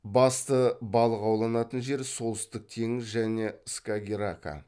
басты балық ауланатын жер солтүстік теңіз және скагеррака